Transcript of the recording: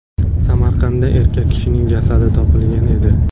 Samarqandda erkak kishining jasadi topilgan edi.